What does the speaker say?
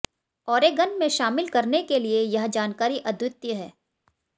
Oregon में शामिल करने के लिए यह जानकारी अद्वितीय है